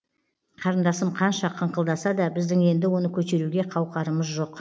қарындасым қанша қыңқылдаса да біздің енді оны көтеруге қауқарымыз жоқ